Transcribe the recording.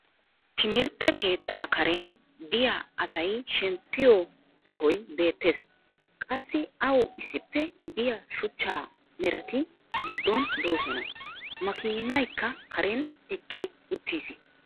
timirtte keettaa karen diya asay shemppiyo sohoy beetees. qassi awu issippe diya shuchcha merati goddon doosona. makiinaykka karen eqqi uttiis.